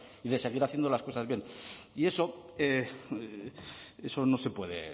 y de seguir haciendo las cosas bien y eso eso no se puede